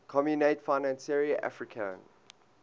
communaute financiere africaine